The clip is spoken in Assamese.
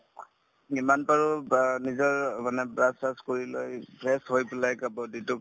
যিমান পাৰো বা নিজৰ অ মানে brush চ্ৰাচ কৰি লৈ fresh হৈ পেলাই body তোক